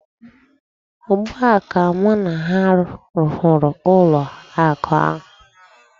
Ugbu a ka mụ na ha hụrụ ụlọ akụ ahụ.